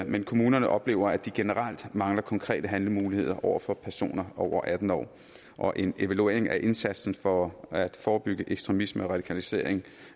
men kommunerne oplever at de generelt mangler konkrete handlemuligheder over for personer over atten år og en evaluering af indsatsen for at forebygge ekstremisme og radikalisering